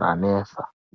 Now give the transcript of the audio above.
ranetsa.